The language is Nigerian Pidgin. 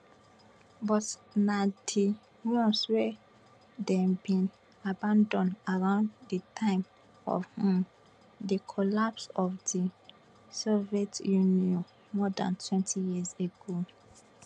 but na di ones wey dem bin abandon around di time of um di collapse of di soviet union more dantwentyyears ago